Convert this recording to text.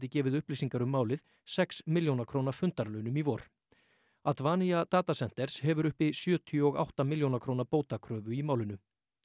gefið upplýsingar um málið sex milljóna króna fundarlaunum í vor Data Centers hefur uppi sjötíu og átta milljóna króna bótakröfu í málinu